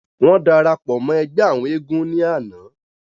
wọ́n darapọ̀ mọ́ ẹgbẹ́ àwọn eégún ní àná